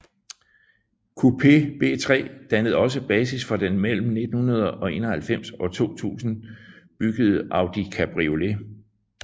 Coupé B3 dannede også basis for den mellem 1991 og 2000 byggede Audi Cabriolet